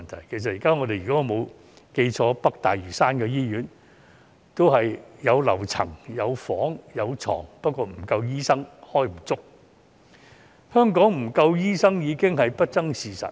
如果我沒有記錯，現時北大嶼山醫院也有樓層、有病房、有病床，但沒有足夠醫生，香港醫生不足的問題已經是不爭的事實。